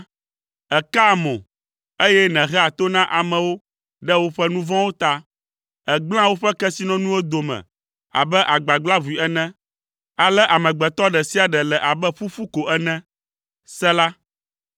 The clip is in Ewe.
Èkaa mo, eye nèhea to na amewo ɖe woƒe nu vɔ̃wo ta; ègblẽa woƒe kesinɔnuwo dome abe agbagblaʋui ene, ale amegbetɔ ɖe sia ɖe le abe ƒuƒu ko ene. Sela.